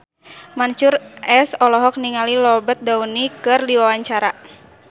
Mansyur S olohok ningali Robert Downey keur diwawancara